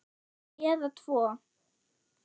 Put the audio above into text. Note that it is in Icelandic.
Eða tvo.